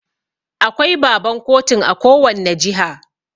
Akwai Baban kotun a kowanne jiha.